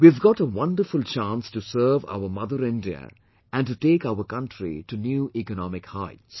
We have got a wonderful chance to serve our mother India and to take our country to new economic heights